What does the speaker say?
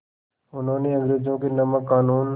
उन्होंने अंग्रेज़ों के नमक क़ानून